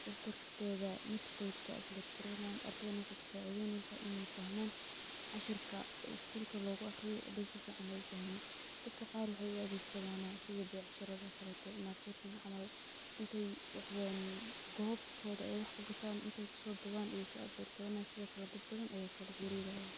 sidas darteda yutubka ay kusoabload grenayan, ardana waxay kasacideynesa in ay fahman cashirka skulka logu aqriye haday sificn ay ufahmin. Dadka qar waxay u adegsadana sidha becsharada oo kalete marketting camal , intey gobtodha wax ay kugatan intay kasoduban ay so abloadgreynayan sidhokale dad bathan aya kala xirirayah.